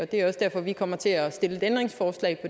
det er også derfor vi kommer til at stille et ændringsforslag